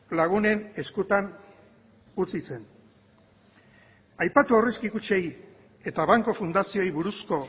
lagunen eskutan utzi zen aipatu aurrezki kutxei eta banku fundazioei buruzko